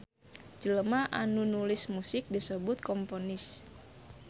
Jelema anu nulis musik disebut komponis.